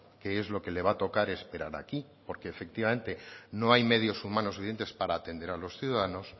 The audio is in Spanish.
que es lo que le va a tocar esperar aquí porque efectivamente no hay medios humanos suficientes para atender a los ciudadanos